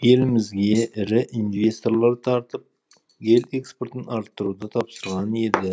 елімізге ірі инвесторлар тартып ел экспортын арттыруды тапсырған еді